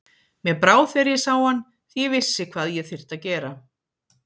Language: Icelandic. Mér brá þegar ég sá hann því ég vissi hvað ég þyrfti að gera.